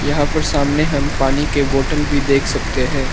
यहां पर सामने हम पानी के बॉटल भी देख सकते हैं।